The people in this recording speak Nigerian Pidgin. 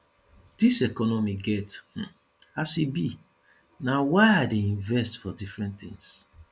dis economy get um as e be na why i dey invest for different tins